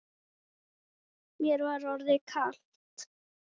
Mér var orðið kalt.